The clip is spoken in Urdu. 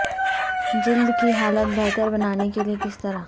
جلد کی حالت بہتر بنانے کے لئے کس طرح